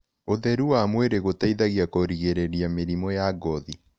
Ũtherũ wa mwĩrĩ gũteĩthagĩa kũgĩrĩrĩrĩa mĩrĩmũ ya ngothĩ